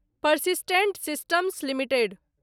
persistent systems limited